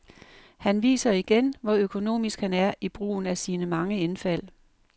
Han viser igen, hvor økonomisk han er i brugen af sine mange indfald.